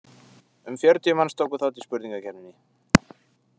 Um fjörutíu manns tóku þátt í spurningakeppninni.